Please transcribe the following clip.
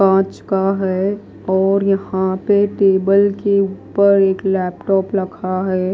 कांच का है और यहां पर टेबल के ऊपर एक लैपटॉप रखा है।